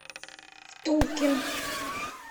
втулкин